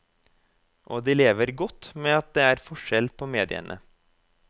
Og de lever godt med at det er forskjell på mediene.